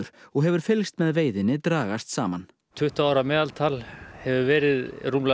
og hefur fylgst með veiðinni dragast saman tuttugu ára meðaltal hefur verið rúmlega